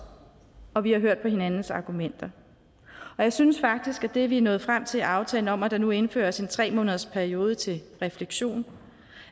og vi har hørt på hinandens argumenter og jeg synes faktisk at det vi er nået frem til i aftalen om at der nu indføres en tre månedersperiode til refleksion